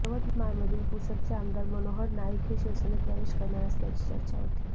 यवतमाळमधील पुसदचे आमदार मनोहर नाईक हे शिवसेनेत प्रवेश करणार असल्याची चर्चा होती